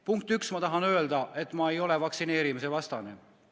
Punkt üks: ma tahan öelda, et ma ei ole vaktsineerimise vastane.